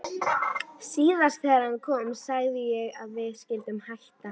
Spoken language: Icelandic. Síðast þegar hann kom sagði ég að við skyldum hætta.